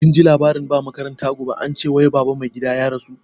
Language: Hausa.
Kinji labarin ba makaranta gobe, ance wai baba mai gadi ya rasu?